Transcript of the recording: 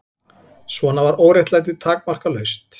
Svona var óréttlætið takmarkalaust.